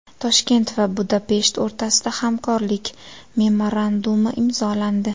Toshkent va Budapesht o‘rtasida hamkorlik memorandumi imzolandi.